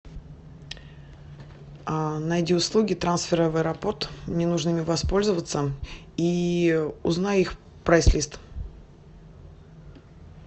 найди услуги трансфера в аэропорт мне нужно ими воспользоваться и узнай их прайс лист